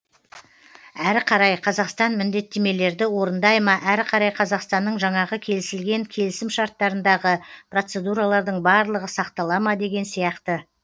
әрі қарай қазақстан міндеттемелерді орындай ма әрі қарай қазақстанның жаңағы келісілген келісім шарттарындағы процедуралардың барлығы сақтала ма деген сияқты